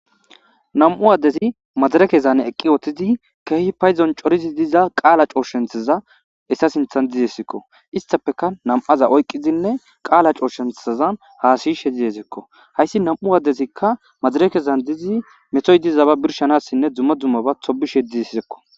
nam7u addezi madarekezan eqqi woohthidi keehi payzon corizi diza qaala cooshenthaza essa sinthan dizesikko istafeka nam7aza oyqqizinne qaala cooshenthazan haasiyishe diesekko hayssi nam7u addesikka madarekezan dizi metoy dizaba birshanassinne dzumma dummaba tobishe dizi sisekko